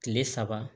Kile saba